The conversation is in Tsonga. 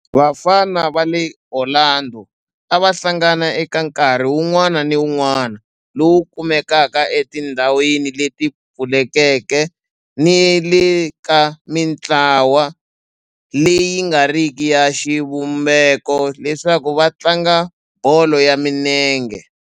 Vafana va le Orlando a va hlangana eka nkarhi wun'wana ni wun'wana lowu kumekaka etindhawini leti pfulekeke ni le ka mintlawa leyi nga riki ya xivumbeko leswaku va tlanga bolo ya minenge.